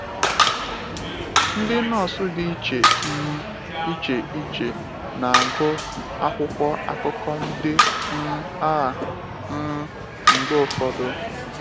Ndị nọọsù dị iche um iche iche na-agụ akwụkwọ akụkọ ndị um a um mgbe ụfọdụ.